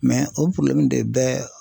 o de bɛ